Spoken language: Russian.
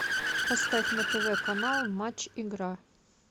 поставь на тв канал матч игра